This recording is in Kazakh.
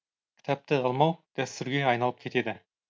кітапты алмау дәстүрге айналып кетеді